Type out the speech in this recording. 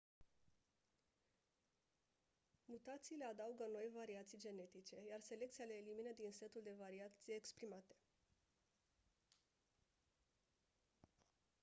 mutațiile adaugă noi variații genetice iar selecția le elimină din setul de variații exprimate